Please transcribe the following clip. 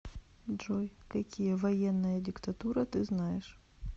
джой какие военная диктатура ты знаешь